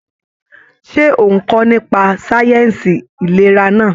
Ṣe o n kọ nípa sáyẹnsì ìlera náà?